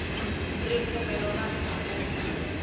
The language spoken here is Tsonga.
ripfumelo ra ndhavuko